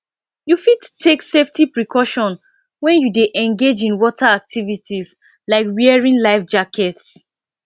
you fit take safety precauton when you dey engage in water activities like wearing life jackets